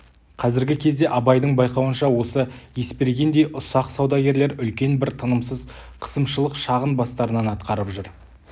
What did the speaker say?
қазіргі кезде абайдың байқауынша осы есбергендей ұсақ саудагерлер үлкен бір тынымсыз қысымшылық шағын бастарынан атқарып жүр